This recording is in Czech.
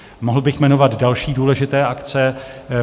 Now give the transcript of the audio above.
Mohl bych jmenovat další důležité akce.